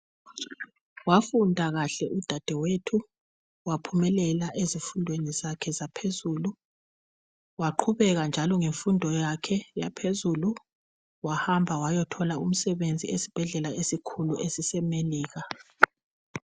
Wafunda kahle udadewethu waphumelela ezifundweni zakhe zaphezulu waqhubeka njalo ngemfundo yakhe yaphezulu wahamba wayothola umsebenzi esibhedlela esikhulu esisemelikha.